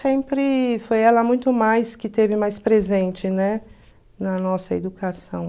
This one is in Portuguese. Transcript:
Sempre foi ela muito mais que teve mais presente, né, na nossa educação.